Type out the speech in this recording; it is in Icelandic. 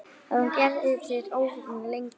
Hann er ekki ófríður lengur.